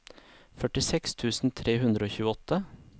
førtiseks tusen tre hundre og tjueåtte